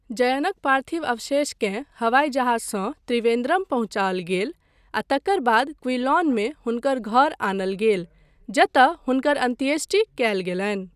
जयनक पार्थिव अवशेषकेँ हवाइ जहाजसँ त्रिवेन्द्रम पहुँचाओल गेल आ तकर बाद क्विलॉनमे हुनकर घर आनल गेल, जतय हुनकर अन्त्येष्टि कयल गेलनि।